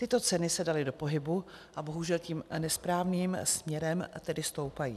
Tyto ceny se daly do pohybu a bohužel tím nesprávným směrem, tedy stoupají.